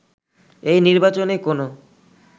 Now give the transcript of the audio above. এই নির্বাচনে কোনো